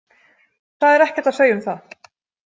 Það er ekkert að segja um það.